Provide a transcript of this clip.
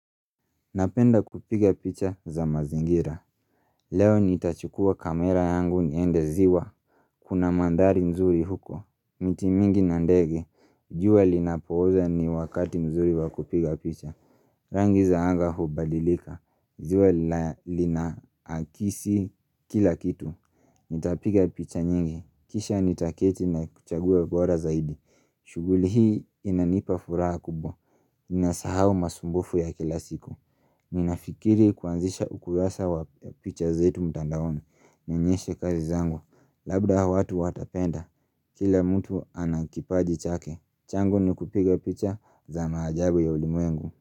Napenda kupiga picha za mazingira. Leo nitachukua kamera yangu niende ziwa. Kuna mandhari nzuri huko. Miti mingi na ndege. Jua linapooza ni wakati nzuri wakupiga picha. Rangi za anga hubadilika. Jua lina lina akisi kila kitu. Nitapiga picha nyingi. Kisha nitaketi na kuchagua bora zaidi. Shughuli hii inanipa furaha kubwa. Inasahau masumbufu ya kila siku. Ninafikiri kuanzisha ukurasa wa picha zetu mtandaoni Nionyeshe kazi zangu Labda hawa watu watapenda Kila mtu anakipaji chake changu ni kupiga picha za maajabu ya ulimwengu.